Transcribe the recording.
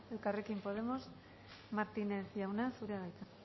elkarrekin podemos martínez jauna zurea da hitza